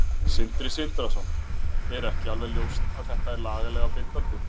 Sindri Sindrason: Er ekki alveg ljóst að þetta er lagalega bindandi?